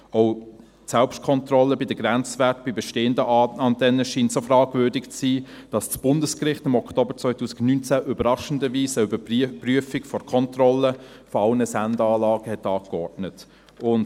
Auch die Selbstkontrolle der Grenzwerte bei bestehenden Antennen scheint so fragwürdig zu sein, dass das Bundesgericht im Oktober 2019 überraschenderweise eine Überprüfung der Kontrolle aller Sendeanlagen angeordnet hat.